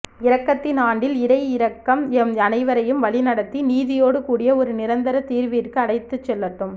இரக்கத்தின் ஆண்டில் இறை இரக்கம் எம் அனைவரையும் வழிநடத்தி நீதியோடு கூடிய ஓரு நிரந்தர தீர்விற்கு அழைத்துச் செல்லட்டும்